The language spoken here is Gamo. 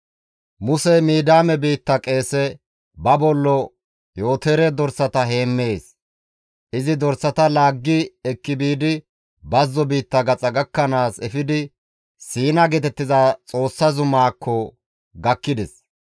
Musey Midiyaame biitta qeese, ba bollo Yootore dorsata heemmees; izi dorsata laaggi ekki biidi bazzo biitta gaxa gakkanaas efidi Siina geetettiza Xoossa zumaakko gakkides.